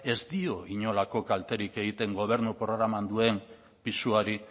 ez dio inolako kalterik egiten gobernu programan duen pisuari